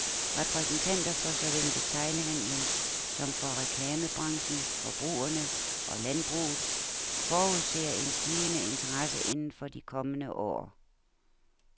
Repræsentanter for såvel detailhandelen som for reklamebranchen, forbrugerne og landbruget forudser en stigende interesse inden for de kommende år.